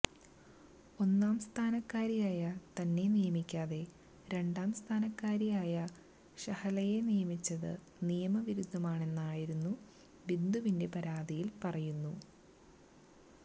ഒന്നാംസ്ഥാനക്കാരിയായ തന്നെ നിയമിക്കാതെ രണ്ടാംസ്ഥാനക്കാരിയായ ഷഹലയെ നിയമിച്ചത് നിയമവിരുദ്ധമാണെന്നായിരുന്നു ബിന്ദുവിന്റെ പരാതിയിൽ പറയുന്നു